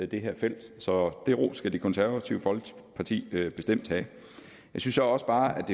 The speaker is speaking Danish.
det her felt så den ros skal det konservative folkeparti bestemt have jeg synes også bare